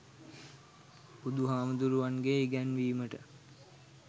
බුදුහාමුදුරුවන්ගෙ ඉගැන්වීමට